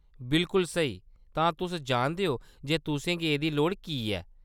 बिल्कुल स्हेई, तां तुस जानदे ओ जे तुसें गी एह्‌‌‌दी लोड़ की ऐ।